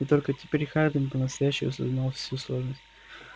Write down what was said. и только теперь хардин по-настоящему осознал всю сложность